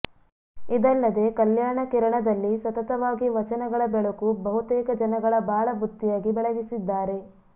ಇದಲ್ಲದೆ ಕಲ್ಯಾಣ ಕಿರಣದಲ್ಲಿ ಸತತವಾಗಿ ವಚನಗಳ ಬೆಳಕು ಬಹುತೇಕ ಜನಗಳ ಬಾಳ ಬುತ್ತಿಯಾಗಿ ಬೆಳಗಿಸಿದ್ದಾರೆ